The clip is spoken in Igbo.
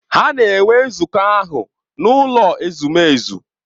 Ha na-enwe nzukọ ahụ n’ụlọ ezumezu.